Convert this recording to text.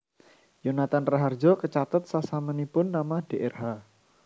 Yonathan Rahardjo kecathet sasampunipun nama Drh